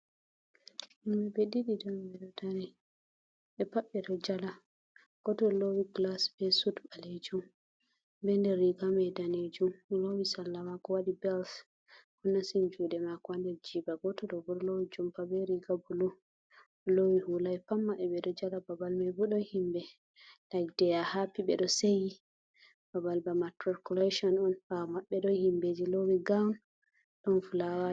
Himbe be didi be pabbe do jala goto lowi glas be sud balejun be nder riga mai danejun lowi salla mako wadi bels o nastini jude mako ha nder jiba, goto do bo lowi jumpa be riga bulu lowi hulai pat mabebe do jala babal mai bodo himbe lik deya hapi be do seyi babal ba matriculation on bawa mabbe do himbeji lowi goun don fulawa.